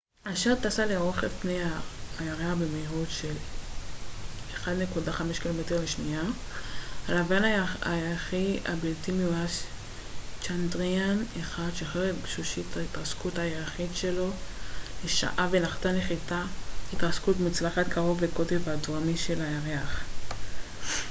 הלווין הירחי הבלתי מאויש צ'אנדריאן-1 שחרר את גשושית ההתרסקות הירחית שלו mip אשר טסה לרוחב פני הירח במהירות של 1.5 קילומטר לשנייה 3000 מייל לשעה ונחתה נחיתת התרסקות מוצלחת קרוב לקוטב הדרומי של הירח